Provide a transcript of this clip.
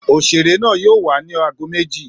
Òṣèré náà yóò wá ni aago méjì